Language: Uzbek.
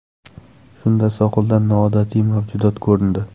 Shunda sohilda noodatiy mavjudot ko‘rindi.